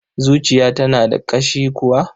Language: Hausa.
Zuciya tana da ƙashi kuwa?